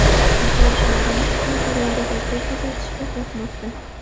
Futbolchilarimiz bir-birlariga to‘p uzatishga qo‘rqmoqda.